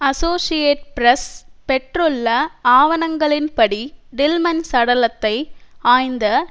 associate Press பெற்றுள்ள ஆவணங்களின்படி Tillman சடலத்தை ஆய்ந்த